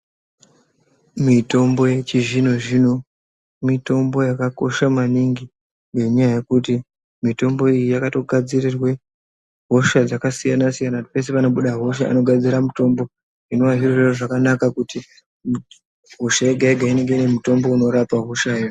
Mitombo yechizvino zvino mitombo yakakosha maningi ngenyaya yekuti mitombo iyi yakatogadzirirwe hosha dzakasiyana kuti peshe panobude hosha anogadzira mutombo zvinova zviri zviro zvakanaka kuti hosha yega yega inenge inemutombo inorapa hoshayo.